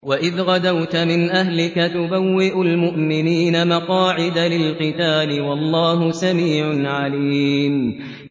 وَإِذْ غَدَوْتَ مِنْ أَهْلِكَ تُبَوِّئُ الْمُؤْمِنِينَ مَقَاعِدَ لِلْقِتَالِ ۗ وَاللَّهُ سَمِيعٌ عَلِيمٌ